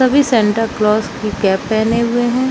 सभी Santa Claus की cap पहने हुए है।